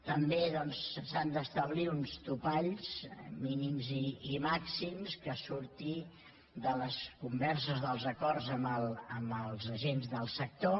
també doncs s’han d’establir uns topalls mínims i màxims que surtin de les converses dels acords amb els agents del sector